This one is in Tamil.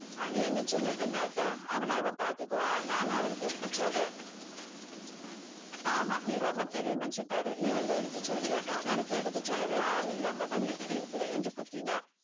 அனு என்ன சின்ன பெண்ணா அத்தை அவளை அவள் பாத்துக்குவா நானும் அவளுக்கு எடுத்து சொல்றேன். ஆமாம் நீ ரொம்ப பெரிய மனுஷி பாரு நீ வந்து எடுத்து சொல்றியாக்கும். உனக்கு எடுத்து சொல்லவே ஆளில்லாம தான் நீ இப்படி இருக்கிற என்று குத்தினான்.